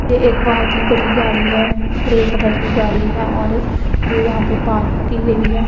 ये एक बहुत ही बड़ी गाड़ी है ग्रे कलर की गाड़ी है और ये यहां पे पार्क की गई है।